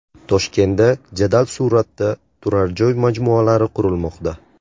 Toshkentda jadal sur’atda turar joy majmualari qurilmoqda.